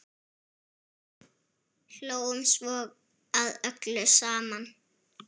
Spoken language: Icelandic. Hlógum svo að öllu saman.